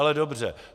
Ale dobře.